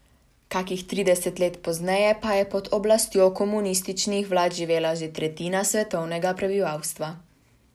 Kakih trideset let pozneje pa je pod oblastjo komunističnih vlad živela že tretjina svetovnega prebivalstva.